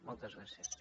moltes gràcies